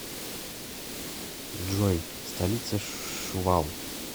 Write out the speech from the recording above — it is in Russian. джой столица шувал